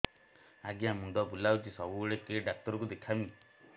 ଆଜ୍ଞା ମୁଣ୍ଡ ବୁଲାଉଛି ସବୁବେଳେ କେ ଡାକ୍ତର କୁ ଦେଖାମି